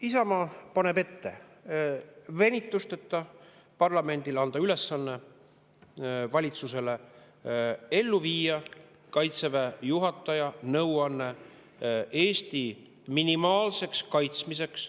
Isamaa paneb parlamendile ette anda venitusteta valitsusele ülesanne viia ellu Kaitseväe juhataja nõuanne Eesti minimaalse kaitsmise kohta.